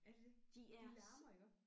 Er det det? De larmer iggå?